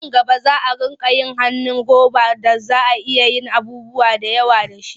Nan gaba za a riƙa yin hannun roba da za a iya yin abubuwa da yawa da shi.